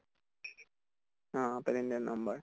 oh palindrome number